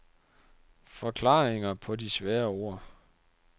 Forklaringer på de svære ord.